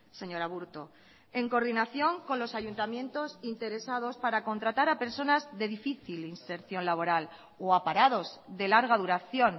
señor aburto en coordinación con los ayuntamientos interesados para contratar a personas de difícil inserción laboral o a parados de larga duración